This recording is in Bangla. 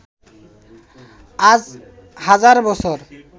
আজ হাজার বছর